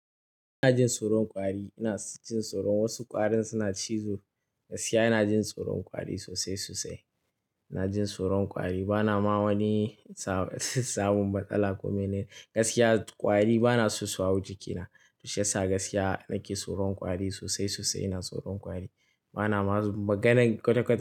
Ina jin tsoron kwari, ina jin tsoron wasu ƙwarin suna cizo. Gaskiya ina jin tsoron kwari sosai sosai. Ina jin tsoron kwari bana ma wani sab-samun matsala kume ne. Gaskiya ƙwari banaso su hau jikina. Shiyasa gaskiya nake tsoron kwari sosai sosai. Ina tsoron kwari bana ma maganan kwata-kwata.